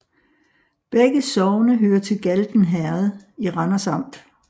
Begge sogne hørte til Galten Herred i Randers Amt